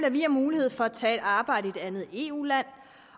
at vi har mulighed for at tage et arbejde i et andet eu land